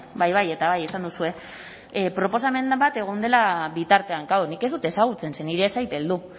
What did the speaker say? bai bai eta bai esan duzue proposamen bat egon dela bitartean klaro nik ez dut ezagutzen ze niri ez zait heldu